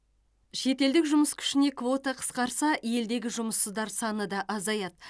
шетелдік жұмыс күшіне квота қысқарса елдегі жұмыссыздар саны да азаяды